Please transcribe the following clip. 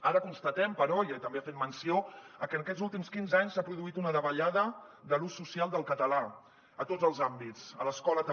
ara constatem però i també n’ha fet menció que en aquests últims quinze anys s’ha produït una davallada de l’ús social del català a tots els àmbits a l’escola també